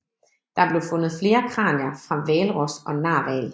Der blev fundet flere kranier fra hvalros og narhval